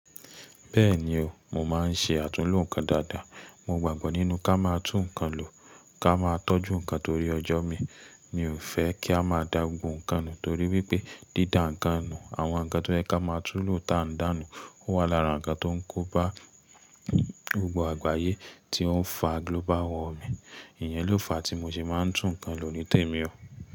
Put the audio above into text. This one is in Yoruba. Bẹ́ẹ̀ni o, mo máa ń ṣe àtúnlo nǹkan dáadáa. Mo gbàgbọ́ nínú ká máa tún nǹkan lò, ká máa tọ́jú nǹkan torí ọjọ́ mi. Mi ò fẹ́ kí a máa da gbogbo nǹkan nù torí wípé dídà nǹkan nù, àwọn nǹkan tó yẹ ká máa tún lò tàǹdánù, ó wà lára nǹkan tó ń kóba gbogbo àgbáyé tí ó ń fa global warming. Ìyẹn ló fa tí mo ṣe máa ń tún nǹkan lò ní tèmi o.